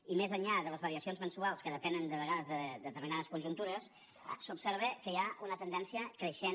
i més enllà de les variacions mensuals que depenen de vegades de determinades conjuntures s’observa que hi ha una tendència creixent